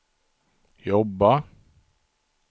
jobba